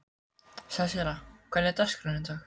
Sesselía, hvernig er dagskráin í dag?